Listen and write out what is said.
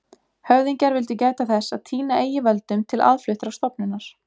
Höfðingjar vildu gæta þess að týna eigi völdum til aðfluttrar stofnunar.